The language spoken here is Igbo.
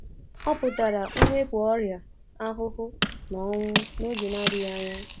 Ọ pụtara mwepụ ọrịa, ahụhụ, na ọnwụ n’oge na-adịghị anya.